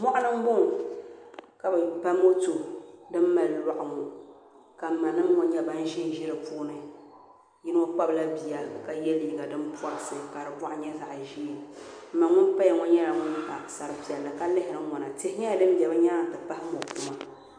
Mɔɣuni m bɔŋɔ ka bɛ ba moto din mali lɔɣu ŋɔ ka m manima ŋɔ nyɛ ban ʒinʒi di puuni yino kpabila bia ka yɛ liiga din pɔrisi ka di bɔɣu nyɛ zaɣ ʒɛɛ m ma ŋun paya ŋɔ nyɛla ŋun pa sari piɛlli ka lihiri n ŋɔnatihi nyɛla din be bɛ nyaanga nti pahi mɔkuma